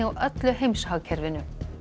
öllu heimshagkerfinu